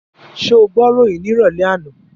Ṣé o gbọ́ ìròyìn ní ìrọ̀lẹ́ àná?